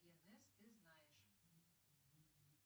ты знаешь